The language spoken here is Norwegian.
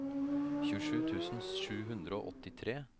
tjuesju tusen sju hundre og åttitre